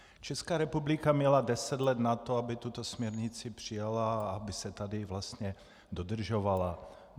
Česká republika měla deset let na to, aby tuto směrnici přijala a aby se tady vlastně dodržovala.